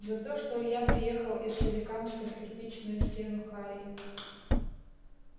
за то что илья приехал из соликамска в кирпичную стену харей